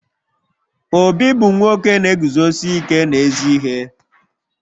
Obi bu nwoke na-eguzosi ike n'ezi ihe